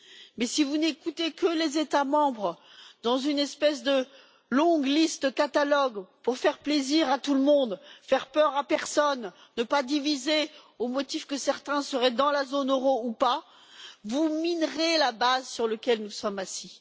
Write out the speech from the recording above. Mais si vous n'écoutez que les États membres et établissez une espèce de longue liste catalogue pour faire plaisir à tout le monde, ne faire peur à personne, ne pas diviser au motif que certains seraient dans la zone euro ou pas, vous minerez la base sur laquelle nous sommes assis.